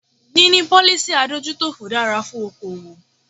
Níní policy adójútòfò dára fún okoòwò.